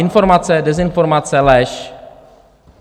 Informace, dezinformace, lež?